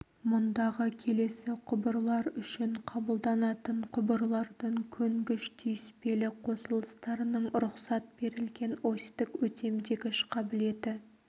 мұндағы келесі құбырлар үшін қабылданатын құбырлардың көнгіш түйіспелі қосылыстарының рұқсат берілген осьтік өтемдегіш қабілеті